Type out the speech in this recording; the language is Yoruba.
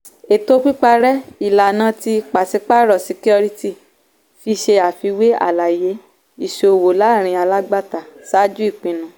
ètò pípàrẹ́ - ìlànà tí pàṣípàárọ̀ ṣíkíórítì fi ṣe àfiwé àlàyé ìṣòwò láàrin alágbàtà ṣáájú ìpinnu.